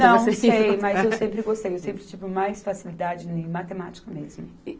Não, sei, mas eu sempre gostei, eu sempre tive mais facilidade em matemática mesmo.